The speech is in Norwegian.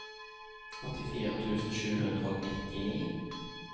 åttifire tusen sju hundre og nittini